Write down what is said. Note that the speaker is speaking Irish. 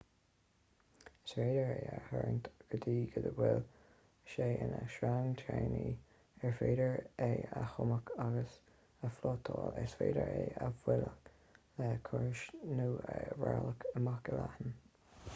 is féidir é a tharraingt go dtí go bhfuil sé ina sreang tanaí ar féidir é a thumadh agus a phlátáil is féidir é a bhualadh le casúr nó a rolladh amach i leatháin